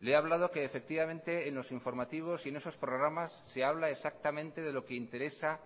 le he hablado que efectivamente en los informativos y en esos programas se habla exactamente de lo que interesa